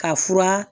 Ka fura